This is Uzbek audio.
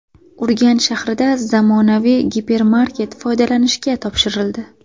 Urganch shahrida zamonaviy gipermarket foydalanishga topshirildi.